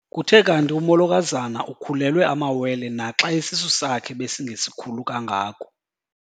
Kuthe kanti umolokazana ukhulelwe amawele naxa isisu sakhe besingesikhulu kangako.